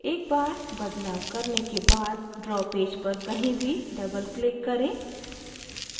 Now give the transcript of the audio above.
एक बार बदलाव करने के बाद draw पेज पर कहीं भी doubleclick करें